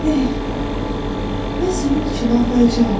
Mən sənin üçün ağlayacağam.